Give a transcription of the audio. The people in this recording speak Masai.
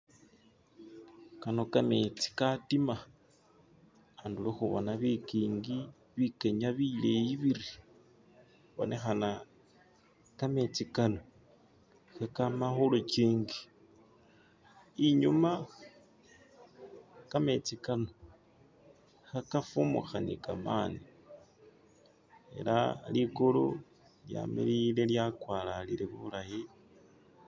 kano kametsi katima khundulo khubona bikiingi bikenya bileeyi biri ibonekhana kametsi kano khekama khulukingi inyuma kametsi kano khekafumukha ni kamaani ela ligulu lyamiliile lyakwalalile bulayi.